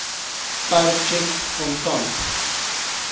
per tjek kontant